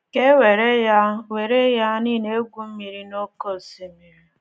Ka e were ya were ya na ị na-egwu mmiri n’oké osimiri.